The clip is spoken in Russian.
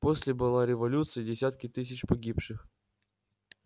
после была революция и десятки тысяч погибших